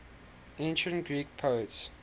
ancient greek poets